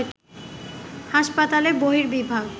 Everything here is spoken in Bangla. হাসপাতালের বহির্বিভাগ